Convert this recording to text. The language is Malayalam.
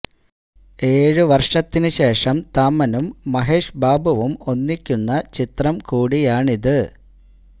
ഏഴ് വര്ഷത്തിന് ശേഷം താമനും മഹേഷ് ബാബുവും ഒന്നിക്കുന്ന ചിത്രം കൂടിയാണിത്